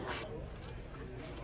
Sənə deyirəm, sən bilirsən.